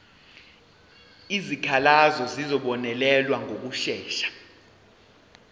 izikhalazo zizobonelelwa ngokushesha